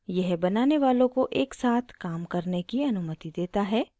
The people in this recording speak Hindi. यह बनाने वालो को एक साथ काम करने की अनुमति देता है